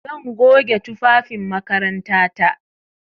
Zan goge tufafin makarantata.